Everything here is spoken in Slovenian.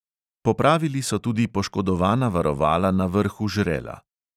Popravili so tudi poškodovana varovala na vrhu žrela.